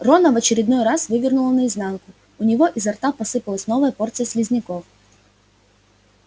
рона в очередной раз вывернуло наизнанку у него изо рта посыпалась новая порция слизняков